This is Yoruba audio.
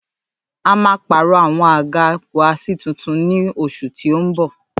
À ḿa pàró àwon àgá wà si tuntun ni ọsù tí ó ń bọ̀